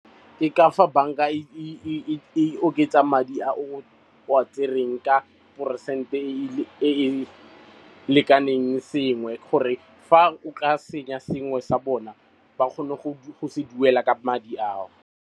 Ke ka fa banka e oketsa madi a o a tsereng ka peresente e e lekaneng sengwe gore fa o tla senya sengwe sa bona ba kgone go se duela ka madi ao.